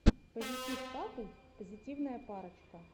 позитив капл позитивная парочка